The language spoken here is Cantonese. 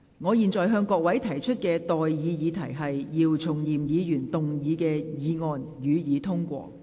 我現在向各位提出的待議議題是：姚松炎議員動議的議案，予以通過。